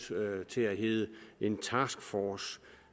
til at hedde en taskforce